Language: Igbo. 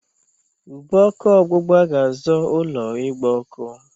Ube ọkụ ọgbụgba ga-azọ ụlọ ịgba ọkụ.